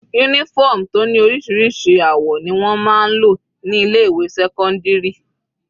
Uniform tó ní oríṣiríṣi àwọ̀ ni wọ́n máa ń lò ní ilé ìwé sẹ́cọ́ndírì.